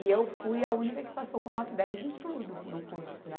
E eu fui a única que passou com nota dez em tudo no curso, né?